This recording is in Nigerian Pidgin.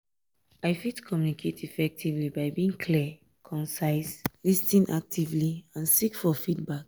i fit communicate effectively by being clear concise lis ten actively and seek for feedback.